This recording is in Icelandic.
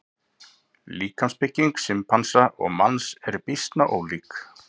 Líkamsbygging simpansa og manns er býsna ólík.